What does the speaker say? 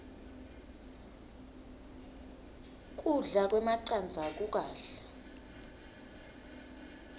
kudla kwemacandza kukahle